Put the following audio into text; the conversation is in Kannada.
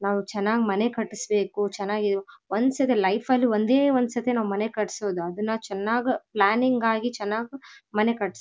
ನಾವು ಚೆನ್ನಾಗಿ ಮನೆ ಕಟ್ಟಿಸ್ಬೇಕು ಚೆನ್ನಾಗಿ ಒಂದ್ಸತಿ ಲೈಫ್ ಅಲ್ಲಿ ಒಂದೇ ಒಂದ್ಸಲ ಮನೆ ಕಟಿಸೋದು ಅದನ್ನ ಚೆನ್ನಾಗ್ ಪ್ಲಾನಿಂಗ್ ಆಗಿ ಚೆನ್ನಾಗ್ ಮನೆ ಕಟ್ಸ್--